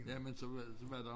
Jamen så var så var der